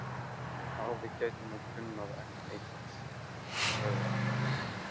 Afi gæti nú kunnað enn eitt, sagði hún.